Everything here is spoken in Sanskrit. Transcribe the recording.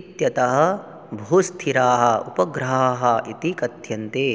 इत्यतः भूस्थिराः उपग्रहाः इति कथ्यन्ते